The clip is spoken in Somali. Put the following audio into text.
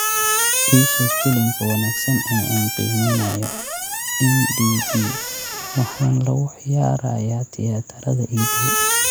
ii sheeg filimka wanaagsan ee aan qiimeynayo. m. d. b. waxaana lagu ciyaarayaa tiyaatarada ii dhow